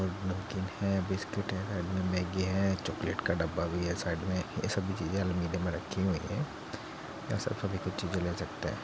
नमकीन है बिस्कुट है मैग्गी है चॉकलेट का डब्बा भी है | साइड मे ये सब भी चीज़े आलमीरे में रखी हुई है | यहाँ सभी सब एक-एक चीज़े ले सकते है |